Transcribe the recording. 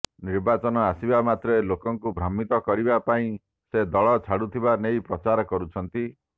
ନିର୍ବାଚନ ଆସିବାମାତ୍ରେ ଲୋକଙ୍କୁ ଭ୍ରମିତ କରିବା ପାଇଁ ସେ ଦଳ ଛାଡୁଥିବା ନେଇ ପ୍ରଚାର କରୁଛନ୍ତି